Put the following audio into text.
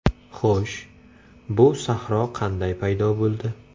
Xo‘sh, bu sahro qanday paydo bo‘ldi?